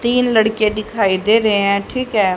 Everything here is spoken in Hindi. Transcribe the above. तीन लड़के दिखाई दे रहे है ठीक है।